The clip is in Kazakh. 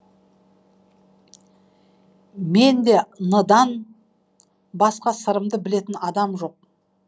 менде н ыдан басқа сырымды білетін адам жоқ